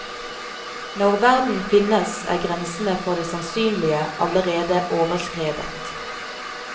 Når verden finnes, er grensene for det sannsynlige allerede overskredet.